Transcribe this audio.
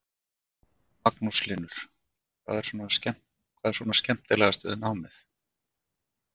Magnús Hlynur: Hvað er svona skemmtilegast við námið?